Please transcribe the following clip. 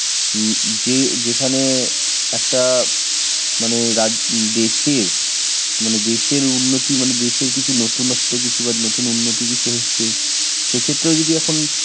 হম যে যেখানে একটা মানে রাজ উম, দেশের, মানে দেশের উন্নতি মানে দেশের কিছু নতুন নত্ব কিছু বা নতুন উন্নতি কিছু হচ্ছে, সেক্ষেত্রেও যদি এখন